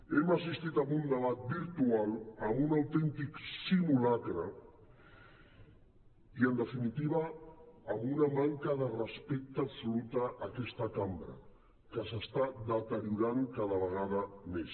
hem assistit a un debat virtual a un autèntic simulacre i en definitiva a una manca de respecte absoluta a aquesta cambra que s’està deteriorant cada vegada més